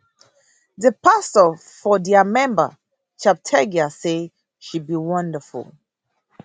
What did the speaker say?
di pastor for dia remember cheptegei say she be wonderful